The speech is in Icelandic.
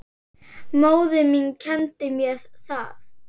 Móðir mín kenndi mér það.